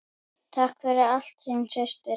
Takk fyrir allt, þín systir.